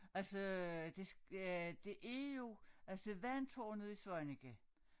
Altså det øh det er jo altså vandtårnet i Svaneke